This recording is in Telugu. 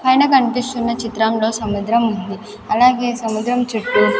పైన కన్పిస్తున్న చిత్రంలో సముద్రం ఉంది అలాగే సముద్రం చుట్టూ --